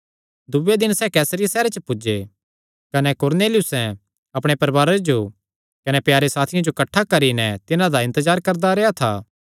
दूये दिने सैह़ कैसरिया सैहरे च पुज्जे कने कुरनेलियुसें अपणे परवारे जो कने प्यारे साथियां जो किठ्ठा करी नैं तिन्हां दा इन्तजार करदा रेह्आ था